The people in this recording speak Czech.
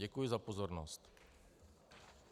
Děkuji za pozornost.